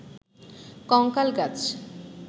কঙ্কাল গাছ